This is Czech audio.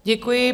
Děkuji.